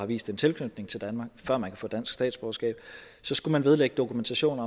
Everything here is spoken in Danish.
vist en tilknytning til danmark før man kan få dansk statsborgerskab så skulle man vedlægge dokumentation